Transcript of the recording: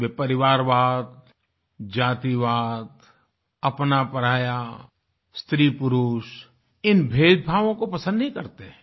वे परिवारवाद जातिवाद अपनापराया स्त्रीपुरुष इन भेदभावों को पसंद नहीं करते हैं